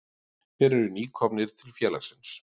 Þeir eru nýkomnir til félagsins.